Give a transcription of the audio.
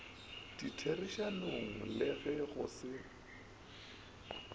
ditherišanong le ge go se